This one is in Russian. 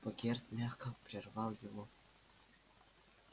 богерт мягко прервал его